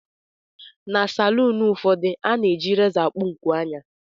Na salụụnụ ụfọdụ, a na-eji rézọ akpụ nku ányà